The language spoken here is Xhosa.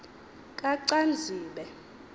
kacanzibe